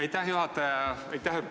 Aitäh, juhataja!